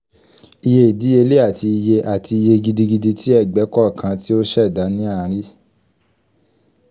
iye idiyele ati iye ati iye gidi gidi ti ẹgbẹ kọọkan ti o ṣẹda ni a rii